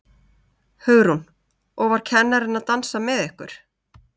Hugrún: Og var kennarinn að dansa með ykkur?